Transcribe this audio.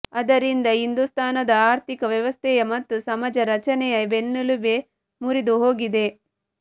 ಅದರಿಂದ ಹಿಂದೂಸ್ಥಾನದ ಆರ್ಥಿಕ ವ್ಯವಸ್ಥೆಯ ಮತ್ತು ಸಮಾಜ ರಚನೆಯ ಬೆನ್ನೆಲುಬೇ ಮುರಿದು ಹೋಗಿದೆ